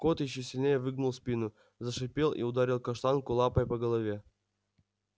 кот ещё сильнее выгнул спину зашипел и ударил каштанку лапой по голове